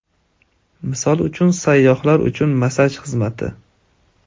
Misol uchun, sayyohlar uchun massaj xizmati.